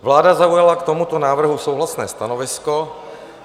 Vláda zaujala k tomuto návrhu souhlasné stanovisko.